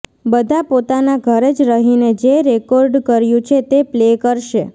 બધા પોતાના ઘરે જ રહીને જે રેકોર્ડ કર્યું છે તે પ્લે કરશે